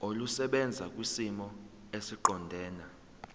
olusebenza kwisimo esiqondena